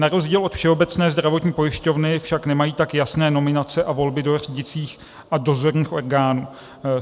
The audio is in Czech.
Na rozdíl od Všeobecné zdravotní pojišťovny však nemají tak jasné nominace a volby do řídících a dozorčích orgánů.